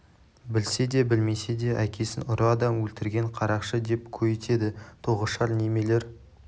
білсе де білмесе де әкесін ұры адам өлтірген қарақшы деп көйітеді тоғышар немелер